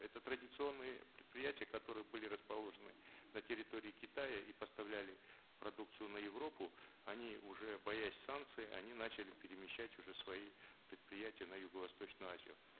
это традиционные предприятия которые были расположены на территории китая и поставляли продукцию на европу они уже боясь санкций они начали перемещать уже свои предприятия на юго восточную азию